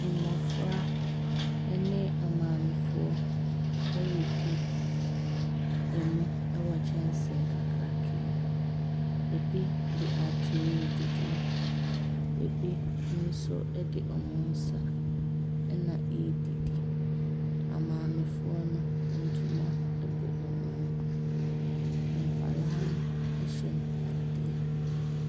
Mmɔfra ne amaamefoɔ ɛredi mo wɔ kyɛnse kakraka mu. Bi de atere redidi, bi nso de wɔn nsa na ɛredidi. Amaamefoɔ no, ntoma bɔ wɔn mu, nkwadaa no hyɛ ntaadeɛ.